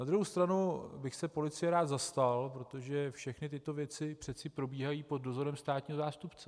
Na druhou stranu bych se policie rád zastal, protože všechny tyto věci přece probíhají pod dozorem státního zástupce.